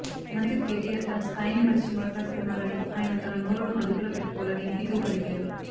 మంత్రి కెటిఆర్ తన స్థాయిని మరచి మాట్లాడుతున్నారని ఆయన తన నోరును అదుపులో పెట్టుకోవాలని హితవు పలికారు